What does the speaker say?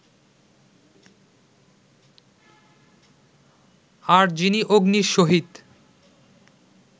আর যিনি অগ্নির সহিত